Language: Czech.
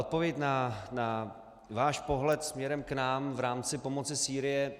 Odpověď na váš pohled směrem k nám v rámci pomoci Sýrie.